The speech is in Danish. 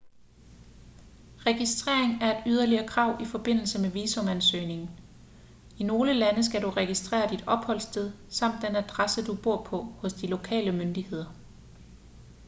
registrering er et yderligere krav i forbindelse med visumansøgningen i nogle lande skal du registrere dit opholdssted samt den adresse du bor på hos de lokale myndigheder